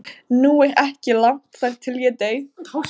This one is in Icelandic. Nú er ekki langt þar til ég dey.